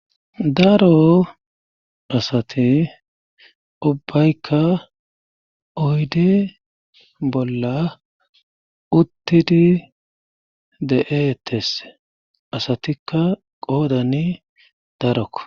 Daro asati ubbaykka oydi bolla uttidi de7etes asatikka qoodani darokko